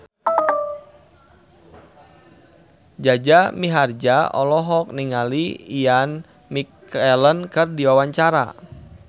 Jaja Mihardja olohok ningali Ian McKellen keur diwawancara